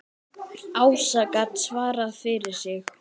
Ása gat svarað fyrir sig.